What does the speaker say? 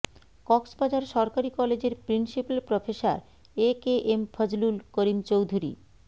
কক্সবাজার সরকারী কলেজের principal professor A K M Fazlul Karim Chowdhury